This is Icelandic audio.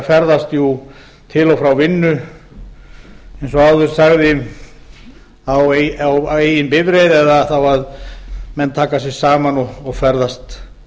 ferðast til og frá vinnu eins og áður sagði á eigin bifreið eða þá að menn taka sig saman og ferðast